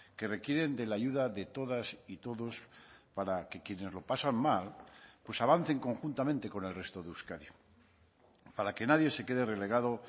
que requieren de la ayuda de todas y todos para que quienes lo pasan mal pues avancen conjuntamente con el resto de euskadi para que nadie se quede relegado